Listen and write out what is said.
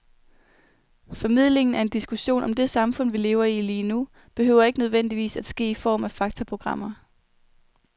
Formidlingen af en diskussion om det samfund, vi lever i lige nu, behøver ikke nødvendigvis at ske i form af faktaprogrammer.